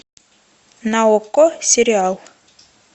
на окко сериал